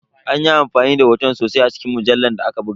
An yi amfani da hotuna sosai a cikin mujallar da aka buga.